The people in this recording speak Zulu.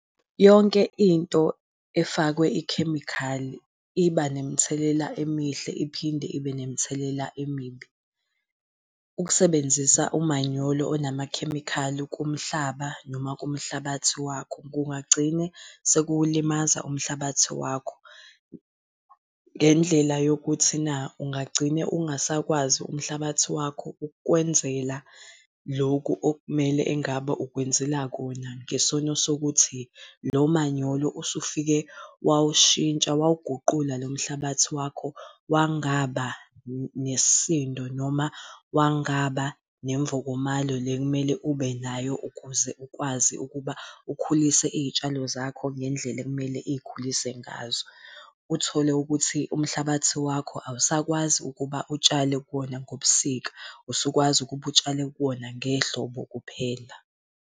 Yonke into efakwe ikhemikhali iba nemithelela emihle iphinde ibe nemithelela emibi. Ukusebenzisa umanyolo onamakhemikhali kumhlaba noma kumhlabathi wakho kungagcina sekulimaza umhlabathi wakho. Ngendlela yokuthi na ungagcina ungasakwazi umhlabathi wakho ukukwenzela lokhu okumele engabe ukwenzela kona ngesono sokuthi lo manyolo usufike wawushintsha wawuguqula lo mhlabathi wakho, wangaba nesisindo noma wangaba nemvokomalo le ekumele ubenayo, ukuze ukwazi ukuba ukhulise iy'tshalo zakho ngendlela ekumele ikhulise ngazo. Uthole ukuthi umhlabathi wakho awusakwazi ukuba utshale kuwona ngobusika, usukwazi ukuba utshale kuwona ngehlobo kuphela.